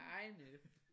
Hej Annette